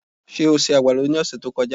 Ṣé o se àgbàdo ní ọ̀sẹ̀ tí ó kọjá?